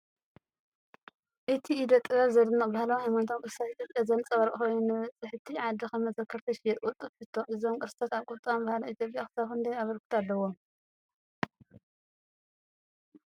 እቲ ኢደ ጥበብ ዘደንቕ ባህላውን ሃይማኖታውን ቅርስታት ኢትዮጵያ ዘንጸባርቕ ኮይኑ፡ ንበጻሕቲ ዓዲ ከም መዘከርታ ይሽየጥ። ቅልጡፍ ሕቶ፡ እዞም ቅርጻታት ኣብ ቁጠባን ባህልን ኢትዮጵያ ክሳብ ክንደይ ኣበርክቶ ኣለዎም?